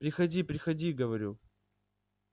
приходи приходи говорю